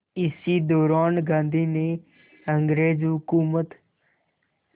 इसी दौरान गांधी ने अंग्रेज़ हुकूमत